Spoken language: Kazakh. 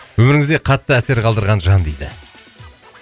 өміріңізде қатты әсер қалдырған жан дейді